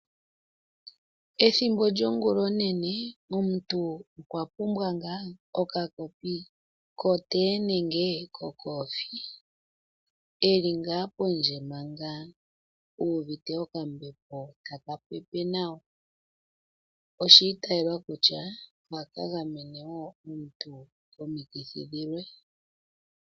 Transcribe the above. Ethimbo lyongula oonene omuntu okwa pumbwa ngaa okakopi kotee nenge kokofi uuvite okambepo taka pepe nawa. Oshiitelwa kutya ohaka gamene omuntu komikithi dhilwe.